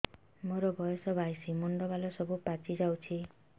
ମୋର ବୟସ ବାଇଶି ମୁଣ୍ଡ ବାଳ ସବୁ ପାଛି ଯାଉଛି